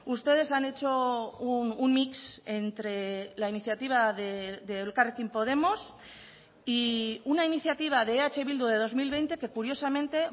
ustedes han hecho un mix entre la iniciativa de elkarrekin podemos y una iniciativa de eh bildu de dos mil veinte que curiosamente